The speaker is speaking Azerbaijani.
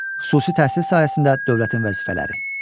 Xüsusi təhsil sahəsində dövlətin vəzifələri.